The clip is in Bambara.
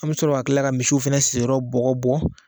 An bɛ sɔrɔ ka kila ka misiw fɛnɛ sigiyɔrɔ bɔgɔ bɔ